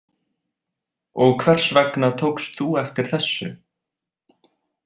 Og hvers vegna tókst þú eftir þessu?